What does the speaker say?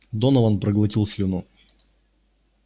донован проглотил слюну